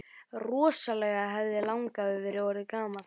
Rosalega hefði langafi verið orðinn gamall!